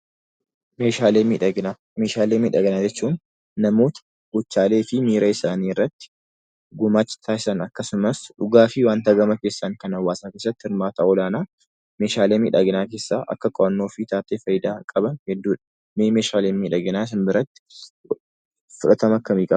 Meeshaalee miidhaginaa. Meeshaalee miidhaginaa jechuun; namoonni govhaaleefi miiraa isaanii irraatti gumaacha taasisan akkasumas dhugaafi wanta gamaa keessan Kan hawaasa irraatti hirmmaata ol-aanaa meeshaalee miidhaginaa keessa akka qo'annoo fixxaaf faayyidaa qaban hedduudha. Mee meeshaaleen miidhaginaa sin biraatti fudhaatama akkami qabu?